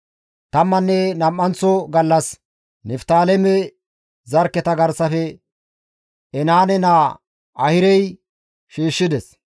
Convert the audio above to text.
Tammanne nam7anththa gallas Niftaaleme zarkketa garsafe Enaane naa Ahirey shiishshides.